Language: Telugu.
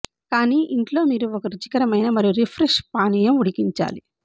కానీ ఇంట్లో మీరు ఒక రుచికరమైన మరియు రిఫ్రెష్ పానీయం ఉడికించాలి